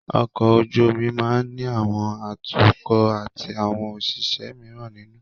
Ọkọ̀ ojú omi máa ní àwọn atukọ̀ atí àwọn òṣìṣẹ́ míràn nínú.